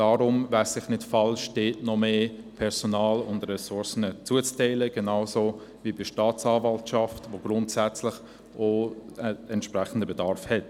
Deshalb wäre es nicht falsch, dort noch mehr Personal und Ressourcen zuzuteilen, genauso wie bei der Staatsanwaltschaft, wo grundsätzlich auch ein entsprechender Bedarf besteht.